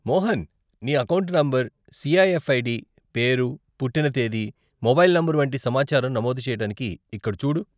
మోహన్, నీ account number, CIF ID, పేరు, పుట్టిన తేదీ, మొబైల్ నంబరు వంటి సమాచారం నమోదు చేయటానికి ఇక్కడ చూడు.